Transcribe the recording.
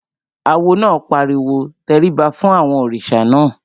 Awo náà pariwo "tẹríba fún àwọn òrìṣà náà!"